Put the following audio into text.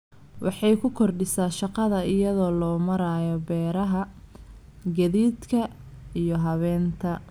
Waxay ku kordhisaa shaqada iyada oo loo marayo beeraha, gaadiidka, iyo habaynta.